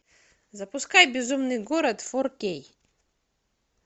запускай безумный город фор кей